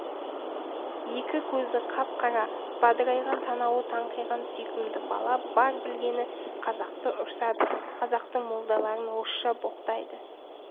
екі көзі қап-қара бадырайған танауы таңқиған сүйкімді бала бар білгені қазақты ұрсады қазақтың молдаларын орысша боқтайды